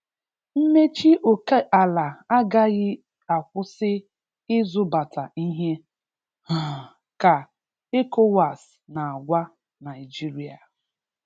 Mmechi oke ala agaghị akwụsi ịzụbata ihe, um ka ECOWAS n'agwa Naịjirịa.